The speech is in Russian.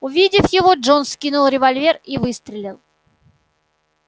увидев его джонс вскинул револьвер и выстрелил